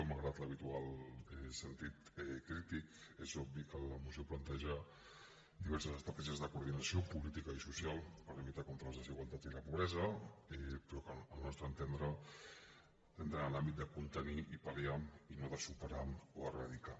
malgrat l’habitual sentit crític és obvi que la moció planteja diverses estratègies de coordinació política i social per lluitar contra les desigualtats i la pobresa però que al nostre entendre entren en l’àmbit de contenir i pal·liar i no de superar o eradicar